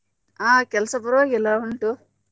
ಹಾ ಕೆಲ್ಸ ಪರ್ವಾಗಿಲ್ಲ ಉಂಟು.